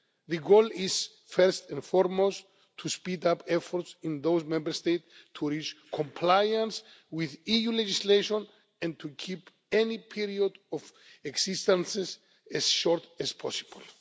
The goal is, first and foremost, to speed up efforts in those Member States to reach compliance with EU legislation, and to keep any period of exceedance as short as possible.